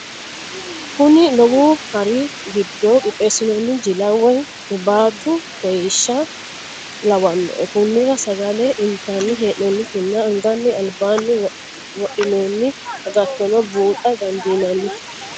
Kuni lowo hari gido qixeesinonni jilla woyi huribaatu koyiisha lawanno koniranno sagale intani hee'nonitinna anganni alibanni wofhinonni agattonni buuxa dandinanni